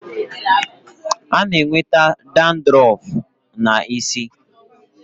A na-enweta dadrọf n'isi.